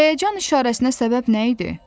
Həyəcan işarəsinə səbəb nə idi?